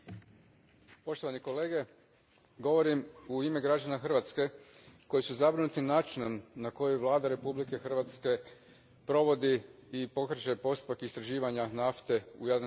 Gospodine predsjedniče, govorim u ime građana Hrvatske koji su zabrinuti načinom na koji Vlada Republike Hrvatske provodi i pokreće postupak istraživanja nafte u Jadranskom moru.